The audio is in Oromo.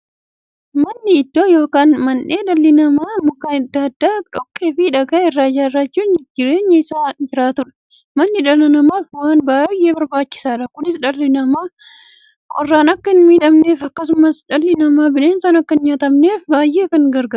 Manni iddoo yookiin mandhee dhalli namaa Mukkeen adda addaa, dhoqqeefi dhagaa irraa ijaarachuun keessa jiraataniidha. Manni dhala namaaf waan baay'ee barbaachisaadha. Kunis, dhalli namaa qorraan akka hinmiidhamneefi akkasumas dhalli namaa bineensaan akka hinnyaatamneef baay'ee isaan gargaara.